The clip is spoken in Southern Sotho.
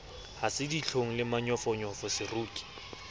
ha se ditlhong le manyofonyofoseroki